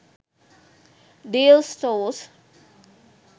deals stores